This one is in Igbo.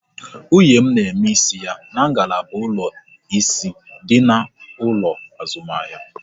Nwunye m n'eme isi ya n'ngalaba ụlọ ịsị dị n'ụlọ azụmahịa